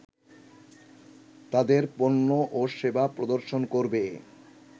তাদের পণ্য ও সেবা প্রদর্শন করবে